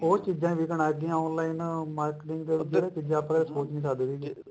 ਹੋਰ ਚੀਜਾ ਵਿਕਣ ਲੱਗ ਗਈਆਂ online marketing ਦੇ ਆਪਾਂ ਸੋਚ ਨੀ ਸਕਦੇ ਵੀ